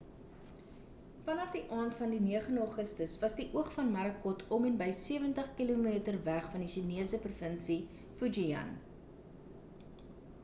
vanaf die aand van die 9e augustus was die oog van morakot om en by sewentig kilometer weg van die chinese provinsie fujian